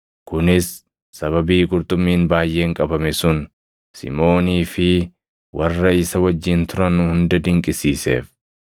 Kunis sababii qurxummiin baayʼeen qabame sun Simʼoonii fi warra isa wajjin turan hunda dinqisiiseef;